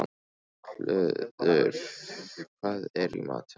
Hlöður, hvað er í matinn?